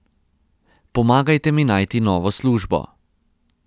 Pomagajte mi najti novo službo.